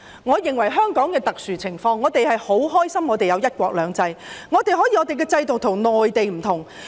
我認為香港是特殊情況，我們很高興香港有"一國兩制"，我們的制度與內地不同。